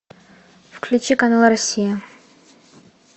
включи канал россия